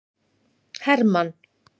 Hermann